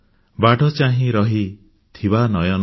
ବାଟ ଚାହିଁ ରହିଥିବା ନୟନ